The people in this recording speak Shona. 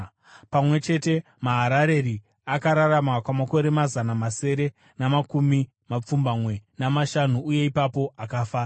Pamwe chete, Maharareri akararama kwamakore mazana masere namakumi mapfumbamwe namashanu, uye ipapo akafa.